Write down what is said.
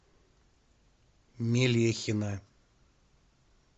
мелехина